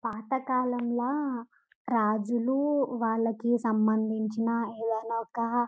పాతకాలంలా రాజులూ వాళ్లకు సంబంధించిన ఏదైనా ఒక.